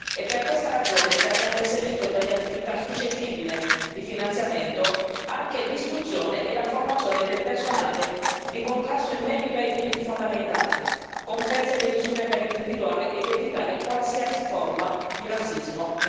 È per questa ragione che abbiamo inserito tra le attività suscettibili di finanziamento anche l'istruzione e la formazione del personale di contrasto in merito ai diritti fondamentali, comprese le misure per individuare ed evitare qualsiasi forma di razzismo.